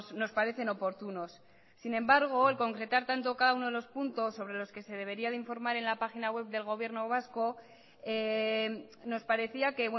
nos parecen oportunos sin embargo el concretar tanto cada uno de los puntos sobre los que se debería de informar en la página web del gobierno vasco nos parecía que